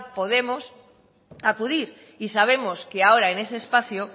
podemos acudir y sabemos que ahora en ese espacio